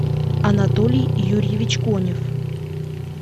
анатолий юрьевич конев